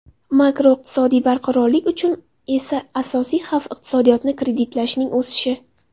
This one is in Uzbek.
Makroiqtisodiy barqarorlik uchun esa asosiy xavf iqtisodiyotni kreditlashning o‘sishi.